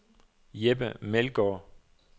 Jeppe Meldgaard